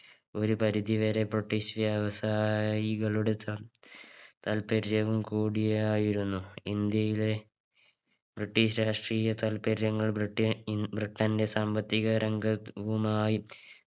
ഒരു പരുധിവരെ British വ്യവസായികളുടെ താ താൽപ്പര്യവും കൂടിയായിരുന്നു ഇന്ത്യയിലെ British രാഷ്ട്രീയ താൽപര്യങ്ങൾ ബ്രിട്ടി ഇൻ ബ്രിട്ടന്റെ സാമ്പത്തിക രംഗത് വുമായി